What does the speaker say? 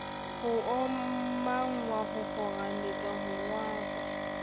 ho omanngwa hokgarametswa ho rohakwa